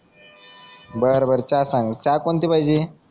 बर बर चहा सांग चहा कोणती पाहिजे